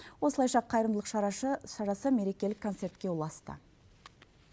осылайша қайырымдылық шарасы мерекелік концертке ұласты